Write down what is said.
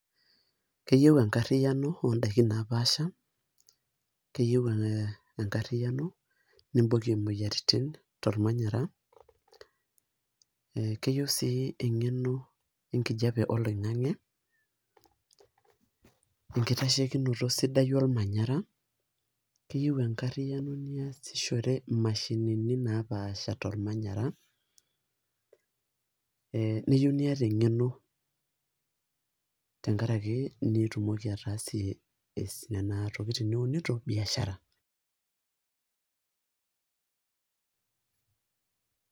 Keyieu enkarriyiano odaiki napaasha, keyieu enkarriyiano nibokie moyiaritin tormanyara, keyieu si eng'eno enkijape oloing'ang'e, orkitashokinoto sidai lormanyara, keyieu enkarriyiano niasishore mashinini napaasha tormanyara, neyieu niata eng'eno tenkaraki nitumoki ataasie nena tokiting niunito, biashara.